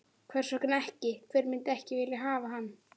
Hvers vegna ekki, hver myndi ekki vilja hafa hann?